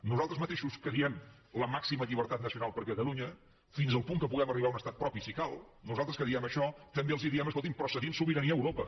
nosaltres mateixos que diem la màxima llibertat nacional per a catalunya fins al punt que puguem arribar a un estat propi si cal nosaltres que diem això també els diem escoltin però cedint sobirania a europa